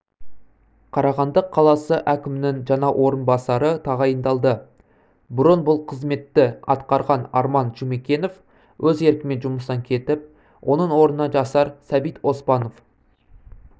қарағанды қаласы әкімінің жаңа орынбасары тағайындалды бұрын бұл қызметті атқарған арман жұмекенов өз еркімен жұмыстан кетіп оның орнына жасар сәбит оспанов